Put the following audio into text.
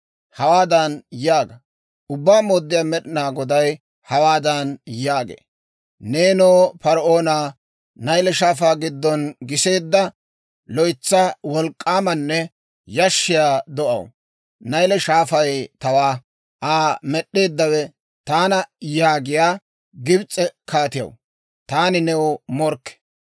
Hawaadan yaaga; ‹Ubbaa Mooddiyaa Med'inaa Goday hawaadan yaagee; «Neenoo, par"oona; Nayle Shaafaa giddon giseedda, loytsa wolk'k'aamanne yashshiyaa do'aw, Nayle Shaafay tawaa; Aa med'd'eeddawe taana yaagiyaa Gibs'e kaatiyaw, taani new morkke!